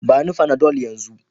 Bani Panadol yanzu